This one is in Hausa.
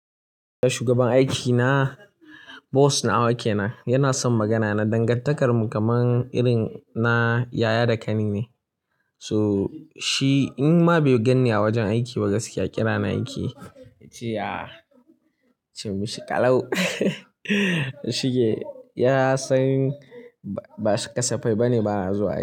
Shugaban aikina, bos nawa kenan aikina yana son magana na dangantakarmu kaman irin na yaya da ƙani ne. So shi in ma bai ganni a wajen aiki ba gaskiya kira ni aiki yace "ya! Chim shi ƙalau shige ya san ba kasafai ba ne bana zuwa aiki.